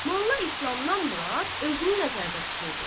Molla İslamdan Murad özünü nəzərdə tuturdu.